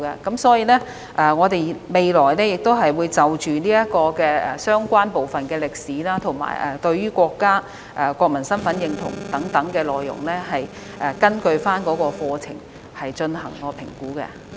因此，我們未來會就相關部分的歷史、對國家及國民身份的認同等內容，根據課程進行評估。